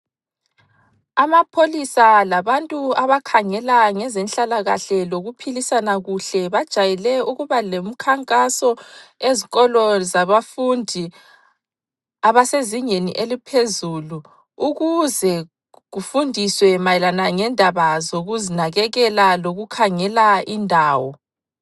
Amapholisa labantu abakhangela ngezenhlalakahle lokuphilisana kuhle bajayele ukuba lemikhankaso ezikolo zabafundi abasezingeni eliphezulu ukuze kufundiswe mayelana ngendaba zokuzinakekela lokukhangela indawo.